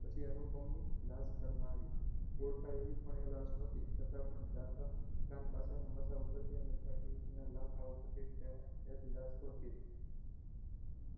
પછી અનુપની લાશ ઘરમાં આવી ઓળખાય એવી પણ એ લાશ નોહતી છતા પણ કાન પાસેના મસા ઉપર થી અને છાતી ઉપર ના લાખા ઉપરથી લાશ ઓળખી